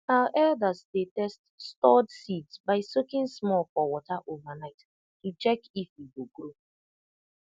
our elders dey test stored seeds by soaking small for water overnight to check if e go grow